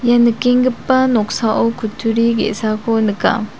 ia nikengipa noksao kutturi ge·sako nika.